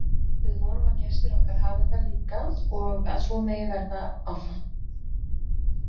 Við vonum að gestir okkar hafi það líka og að svo megi verða áfram.